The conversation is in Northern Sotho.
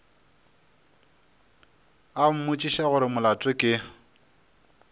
a mmotšiša gore molato ke